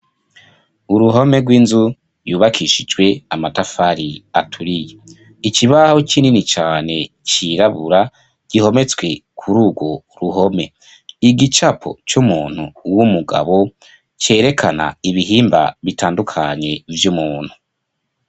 Uruhome rw'inzu, yubakishijwe amatafari aturiye, ikibaho kinini cane, cirabura, gihometswe kuri urwo ruhome; igicapo c'umuntu w'umugabo, cerekana ibihimba bitandukanye, vy'umuntu.